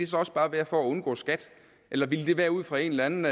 så også bare være for at undgå skat eller ville det være ud fra en eller anden